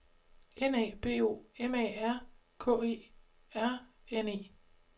N A B O M A R K E R N E